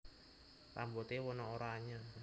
Rambute wena oranye